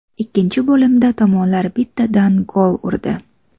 Ikkinchi bo‘limda tomonlar bittadan gol urdi.